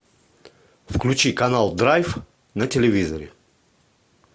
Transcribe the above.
включи канал драйв на телевизоре